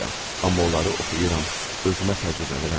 Amma onları oxuyuram, özümə təcrübələnirəm.